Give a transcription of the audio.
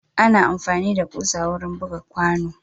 Ana amfani da kusa wurin buga kwano.